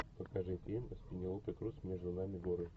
покажи фильм с пенелопой крус между нами горы